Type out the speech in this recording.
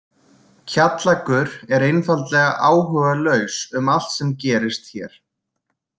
Kjallakur er einfaldlega áhugalaus um allt sem gerist hér.